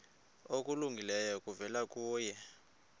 okulungileyo kuvela kuye